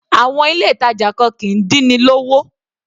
Àwọn ilé ìtàjà kan kìí dín ni lówó.